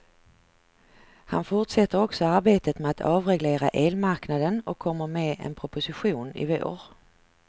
Han fortsätter också arbetet med att avreglera elmarknaden och kommer med en proposition i vår.